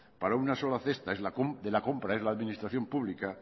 para una sola cesta de la compra es la administración pública